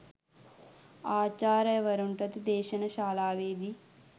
ආචාර්යවරුන්ටද දේශන ශාලාවේදී